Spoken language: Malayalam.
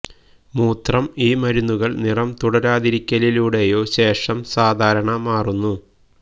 മൂത്രം ഈ മരുന്നുകൾ നിറം തുടരാതിരിക്കലിലൂടെയോ ശേഷം സാധാരണ മാറുന്നു